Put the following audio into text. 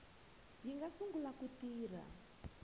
yi nga sungula ku tirha